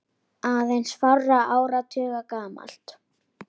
aðeins fárra áratuga gamalt.